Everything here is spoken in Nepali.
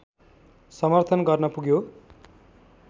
समर्थन गर्न पुग्यो